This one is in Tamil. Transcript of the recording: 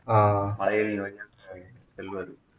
ஆஹ் மலையில நுழைஞ்சு